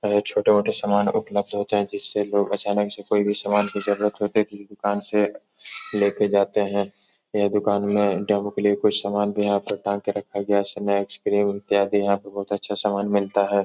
छोटे मोटे समान उपलब्ध होते हैं जिससे लोग अचानक से कोई भी समान की जरूरत होती है तो इ दुकान से लेके जाते हैं। यह दुकान मे डेमो के लिये कुछ समान भी यहाँ पे टांग के रखा गया है यहाँ पे बहोत अच्छा समान मिलता है।